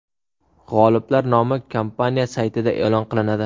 G‘oliblar nomi kompaniya saytida e’lon qilinadi.